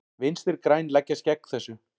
Vinstri græn leggjast gegn þessu.